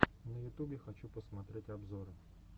на ютубе хочу посмотреть обзоры